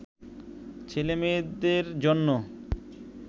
ছেলে মেয়েদের জন্য